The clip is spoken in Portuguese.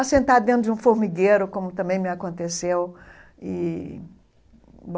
A sentar dentro de um formigueiro, como também me aconteceu e